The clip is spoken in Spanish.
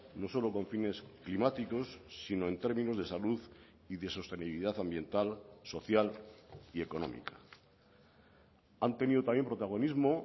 no solo con fines climáticos sino en términos de salud y de sostenibilidad ambiental social y económica han tenido también protagonismo